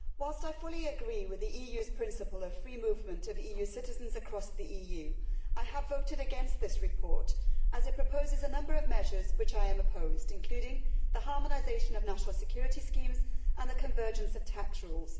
Madam President, whilst I fully agree with the EU's principle of free movement of EU citizens across the EU, I have voted against this report as it proposes a number of measures to which I am opposed, including the harmonisation of national security schemes and the convergence of tax rules.